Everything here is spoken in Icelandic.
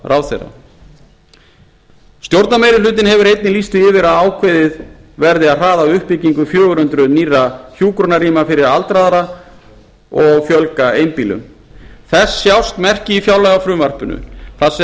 félagsmálaráðherra stjórnarmeirihlutinn hefur einnig lýst því yfir að ákveðið verði að hraða uppbyggingu fjögur hundruð nýrra hjúkrunarrýma fyrir aldraða og fjölga einbýlum þess sjást merki í fjárlagafrumvarpinu þar